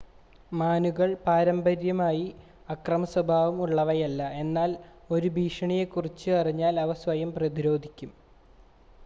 മാനുകൾ പാരമ്പര്യമായി അക്രമ സ്വഭാവം ഉള്ളവയല്ല എന്നാൽ ഒരു ഭീഷണിയെക്കുറിച്ച് അറിഞ്ഞാൽ അവ സ്വയം പ്രതിരോധിക്കും